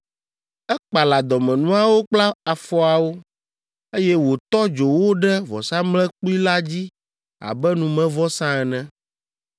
Ekpala dɔmenuawo kple afɔawo, eye wòtɔ dzo wo ɖe vɔsamlekpui la dzi abe numevɔsa ene.